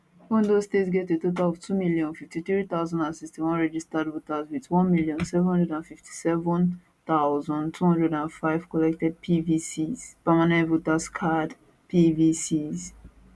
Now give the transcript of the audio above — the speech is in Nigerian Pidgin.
ondo state get a total of 2053061 registered voters wit 1757 205 collected pvcs permanent voters card pvcs